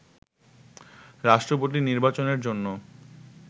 রাষ্ট্রপতি নির্বাচনের জন্য